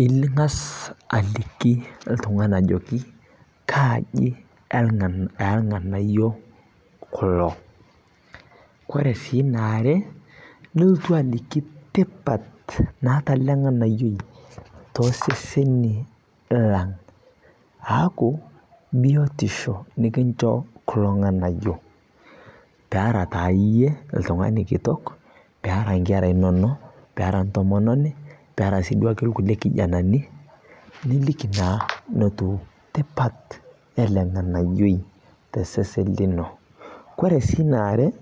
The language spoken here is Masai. Ingaz aliki ntung'ani ajoki kaa aji elganayoo kuloo kore sii naare nultu aliki tipat naata alee ng'anayoi toseseni lang' aaku biotisho likinsho kulo ng'anayo peera taa yie ltung'ani kitok peara nkera inonoo peara ntomononi peara sii duake lkulie kijanani niliki naa notuu tipat elee ng'anayoi tesesen linoo kore sii naare